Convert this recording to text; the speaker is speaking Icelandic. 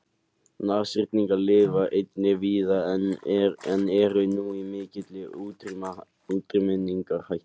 Nashyrningar lifa einnig víða en eru nú í mikilli útrýmingarhættu.